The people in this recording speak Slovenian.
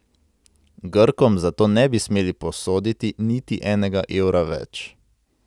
Grkom zato ne bi smeli posoditi niti enega evra več.